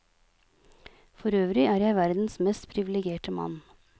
Forøvrig er jeg verdens mest privilegerte mann.